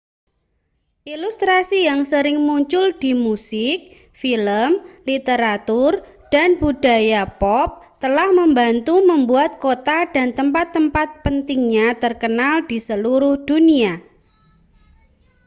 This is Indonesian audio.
ilustrasi yang sering muncul di musik film literatur dan budaya pop telah membantu membuat kota dan tempat-tempat pentingnya terkenal di seluruh dunia